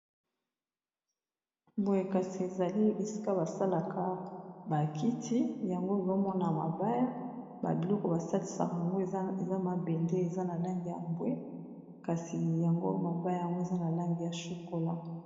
Boye kasi, ezali esika basalaka bakiti yango ezo mañana ya mabaya. Babiloku basalisaka yango, eza mabende eza na langi ya mbwe. kasi yango mabaya yango eza na langi ya shokola.